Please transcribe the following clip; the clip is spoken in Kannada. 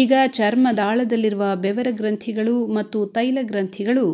ಈಗ ಚರ್ಮದಾಳದಲ್ಲಿರುವ ಬೆವರ ಗ್ರಂಥಿಗಳು ಮತ್ತು ತೈಲಗ್ರಂಥಿಗಳು